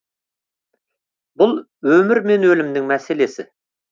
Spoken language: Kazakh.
бұл өмір мен өлімнің мәселесі